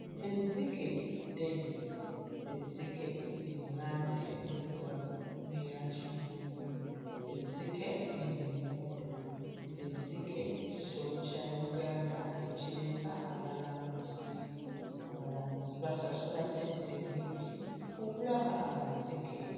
Ezzike ddene, ezzike liri mu langi enzirugavu n'eya kivuuvu, ezzike liri mu muddo, ezzike kisolo kya Uganda ekireeta abalambuzi, abalambuzi basasula ssente nnyingi okulaba amazike.